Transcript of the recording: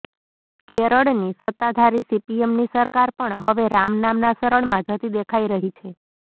કેરળની સત્તાધારી સીપીએમની સરકાર પણ હવે રામ નામના શરણમાં જતી દેખાઈ રહી છે